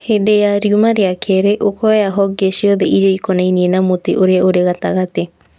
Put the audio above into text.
Hĩndĩ ya riuma rĩa kerĩ, ũkoya honge ciothe iria ikonainie na mũtĩ ũrĩa ũrĩ gatagatĩ